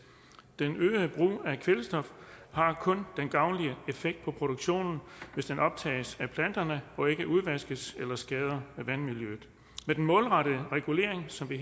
den øgede brug af kvælstof har kun en gavnlig effekt på produktionen hvis den optages af planterne og ikke udvaskes eller skader vandmiljøet med den målrettede regulering som vi